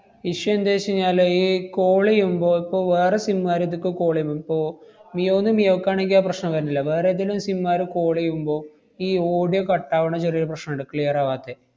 issue എന്തെച്ചെഞ്ഞാല്, ഈ call എയ്യുമ്പോ, ഇപ്പൊ വേറെ sim കാര് ഇതിക്ക് call എമ്മും ~പ്പോ മിയോന്ന് മിയോക്കാണെങ്കി ആ പ്രശ്നം വരന്നില്ല. വേറേതെലും sim കാര് call ചെയ്യുമ്പോ ഈ audio cut ആവണ ചെറിയൊരു പ്രശ്നണ്ട്. clear ആവാത്തെ.